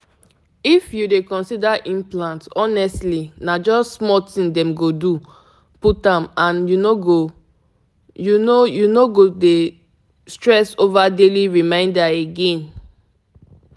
implant dey last reach three years e go save you from daily reminder stress you know na!